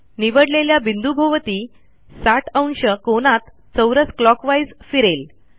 निवडलेल्या बिंदूभोवती 60° कोनात चौरसclockwise फिरेल